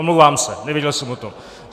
Omlouvám se, nevěděl jsem o tom.